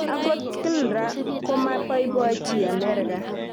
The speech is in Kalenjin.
Angot klra komapaipochi Amerika